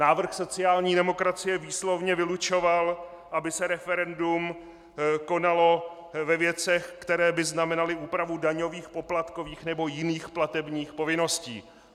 Návrh sociální demokracie výslovně vylučoval, aby se referendum konalo ve věcech, které by znamenaly úpravu daňových, poplatkových nebo jiných platebních povinností.